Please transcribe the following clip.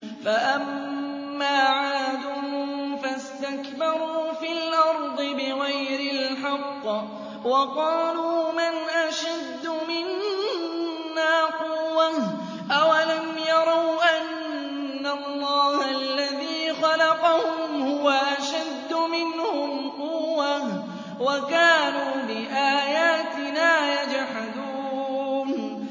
فَأَمَّا عَادٌ فَاسْتَكْبَرُوا فِي الْأَرْضِ بِغَيْرِ الْحَقِّ وَقَالُوا مَنْ أَشَدُّ مِنَّا قُوَّةً ۖ أَوَلَمْ يَرَوْا أَنَّ اللَّهَ الَّذِي خَلَقَهُمْ هُوَ أَشَدُّ مِنْهُمْ قُوَّةً ۖ وَكَانُوا بِآيَاتِنَا يَجْحَدُونَ